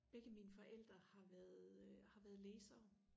begge mine forældre har været øh har været læsere